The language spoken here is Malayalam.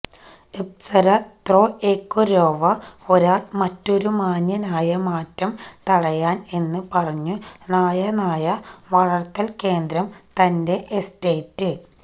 പ്സര ത്രൊഎകുരൊവ ഒരാൾ മറ്റൊരു മാന്യനായ മാറ്റം തടയാൻ എന്ന് പറഞ്ഞു നായ നായവളർത്തൽകേന്ദ്രം തന്റെ എസ്റ്റേറ്റ്